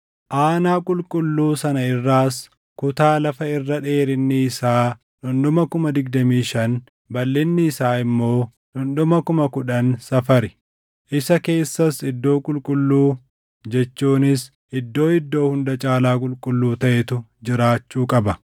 Aanaa qulqulluu sana irraas kutaa lafa irra dheerinni isaa dhundhuma 25,000, balʼinni isaa immoo dhundhuma 10,000 safari. Isa keessas iddoo qulqulluu jechuunis Iddoo Iddoo Hunda Caalaa Qulqulluu taʼetu jiraachuu qaba.